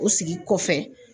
O sigi kɔfɛ